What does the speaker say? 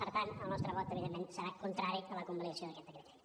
per tant el nostre vot evidentment serà contrari a la convalidació d’aquest decret llei